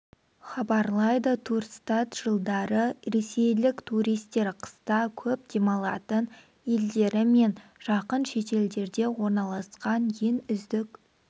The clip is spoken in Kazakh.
хабарлайды турстат жылдары ресейлік туристер қыста көп демалатын елдері мен жақын шетелдерде орналасқан ең үздік